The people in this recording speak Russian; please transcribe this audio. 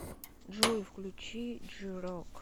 джой включи джи рок